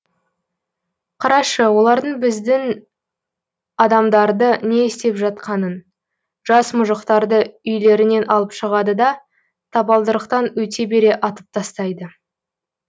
қарашы олардың біздің адамдарды не істеп жатқанын жас мұжықтарды үйлерінен алып шығады да табалдырықтан өте бере атып тастайды